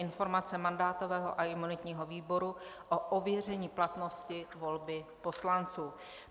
Informace mandátového a imunitního výboru o ověření platnosti volby poslanců